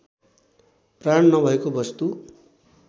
प्राण नभएको वस्तु